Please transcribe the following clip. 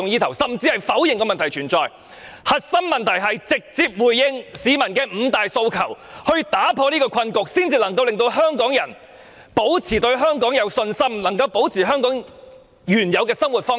其實，核心問題就是要直接回應市民的五大訴求，打破困局，才可以令香港人保持對香港的信心，保持香港人的原有生活方式。